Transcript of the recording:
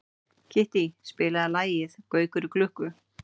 Kittý, spilaðu lagið „Gaukur í klukku“.